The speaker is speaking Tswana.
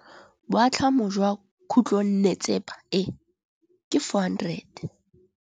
Boatlhamô jwa khutlonnetsepa e, ke 400.